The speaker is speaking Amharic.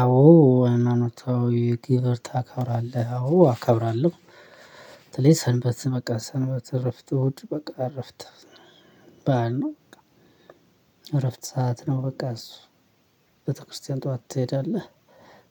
አዎ ሃይማኖታዊ ግብር ታከብራለህ አዎ አከብራለሁ። በተለይ ሰንበት በቃ ሰንበት እረፍት እሁድ እረፍት በዓል ነው። በቃ እረፍት ሰዓት ነው። በቃ እሱ ቤተክርስቲያን ጠዋት ትሄዳለህ?